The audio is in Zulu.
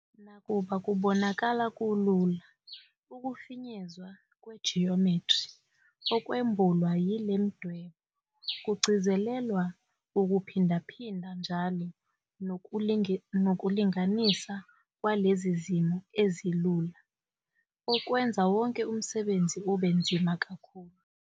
Nakuba kubonakala kulula, ukufinyezwa kwejiyomethri okwembulwa yile midwebo kugcizelelwa ukuphindaphinda njalo nokulinganisa kwalezi zimo ezilula okwenza wonke umsebenzi ube nzima kakhulu.